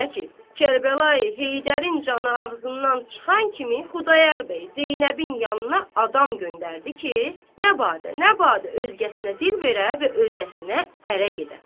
Belə ki, Kərbəlayı Heydərin canı ağzından çıxan kimi Xudayar bəy Zeynəbin yanına adam göndərdi ki, nə badə, nə badə özgəsinə dil verə və özgəsinə ərə gedə.